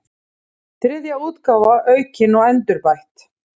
Þriðja útgáfa aukin og endurbætt.